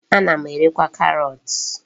Ana m erekwa karọt.